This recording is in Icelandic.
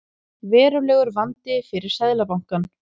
Verulegur vandi fyrir Seðlabankann